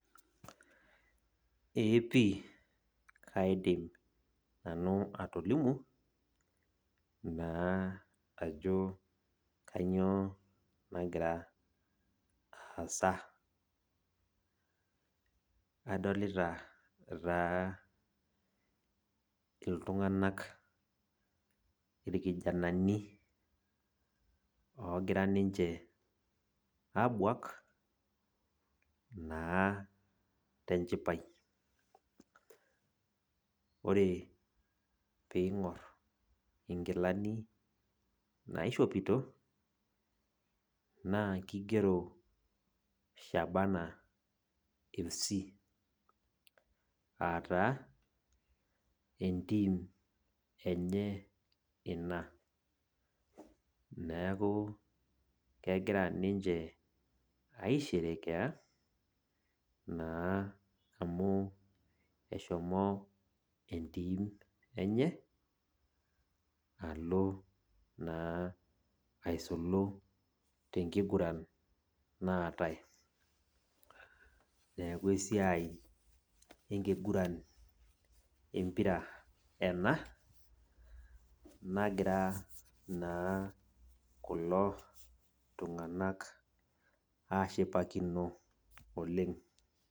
Ee pi kaidim nanu atolimu, naa ajo kanyioo nagira aasa. Adolita taa iltung'anak, irkijanani ogira ninche abuak, naa tenchipai. Ore ping'or inkilani naishopito, naa kigero Shabana Fc,ataa, entim enye ina. Neeku kegira ninche aisherekea, naa amu eshomo entim enye, alo naa aisulu tenkiguran naatae. Neeku esiai enkiguran empira ena, nagira naa kulo tung'anak ashipakino oleng.